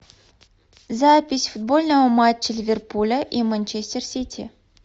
запись футбольного матча ливерпуля и манчестер сити